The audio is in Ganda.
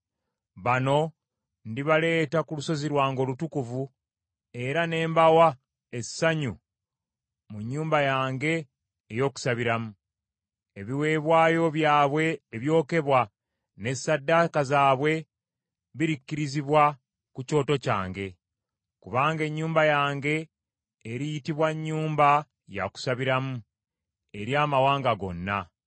bano ndibaleeta ku lusozi lwange olutukuvu era ne mbawa essanyu mu nnyumba yange ey’okusabiramu. Ebiweebwayo byabwe ebyokebwa ne ssaddaaka zaabwe birikkirizibwa ku kyoto kyange. Kubanga ennyumba yange eriyitibwa nnyumba ya kusabiramu eri amawanga gonna.”